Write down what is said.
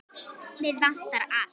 Mig vantar allt.